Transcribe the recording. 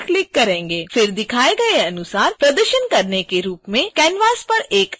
फिर दिखाए गए अनुसार प्रदर्शन के रूप में canvas पर एक आयत बनाएँ